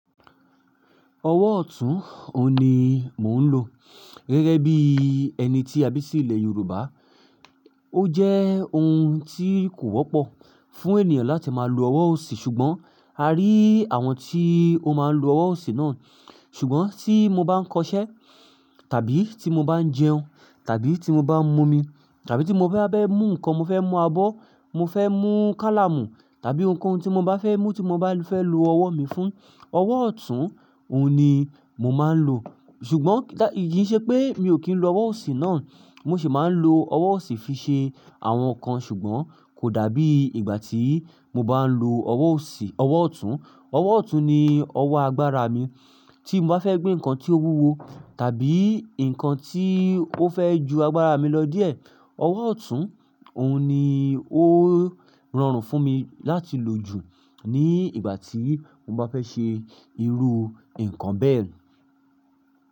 Ọwọ́ ọ̀tún òun ni mò ń lò. Gẹ́gẹ́ bí ẹni tí a bí sí ilẹ̀ Yorùbá, ó jẹ́ ohun tí kò wọ́pọ̀ fún ènìyàn láti máa lo ọwọ́ òsì, ṣùgbọ́n a rí àwọn tí ó máa ń lo ọwọ́ òsì náà. Ṣùgbọ́n tí mo bá ń kọṣẹ́ tàbí tí mo bá ń jẹun tàbí tí mo bá ń mu omi tàbí tí mo bá fẹ́ bá mú nǹkan, mo fẹ́ mú abọ́, mo fẹ́ mú kálámù tàbí ounkoun tí mo bá fẹ́ mú tí mo bá fẹ́ lo ọwọ́ mi fún, ọwọ́ ọ̀tún òun ni mò máa ń lò. Ṣùgbọ́n ki ṣe pé mi ò kí ń lo ọwọ́ òsì náà, mo sì máa ń lo ọwọ́ òsì fi ṣe àwọn nǹkan, ṣùgbọ́n kò dàbí ìgbà tí mo bá ń lo ọwọ́ òsì, ọwọ́ ọ̀tún. Ọwọ́ ọ̀tún ni ọwọ́ agbára mi. Tí mo bá fẹ́ gbé nǹkan tí ó wúwo tàbí nǹkan tí ó fẹ́ ju agbára mi lọ díẹ̀, ọwọ́ ọ̀tún òun ni ó rọrùn fún mi láti lò jù ní ìgbà tí mo bá fẹ́ ṣe irú nǹkan bẹ́ẹ̀.